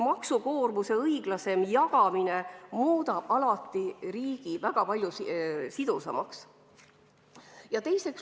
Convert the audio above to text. Maksukoormuse õiglasem jagamine muudab riigi väga palju sidusamaks.